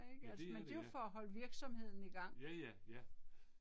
Ja det er det ja. Ja ja, ja